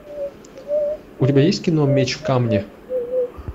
у тебя есть кино меч в камне